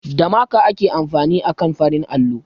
Da maka ake amfani akan farin allo